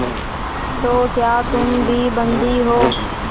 तो क्या तुम भी बंदी हो